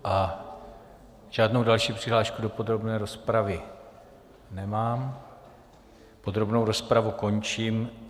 A žádnou další přihlášku do podrobné rozpravy nemám, podrobnou rozpravu končím.